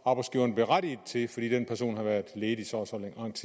arbejdsgiveren berettiget til fordi den person har været ledig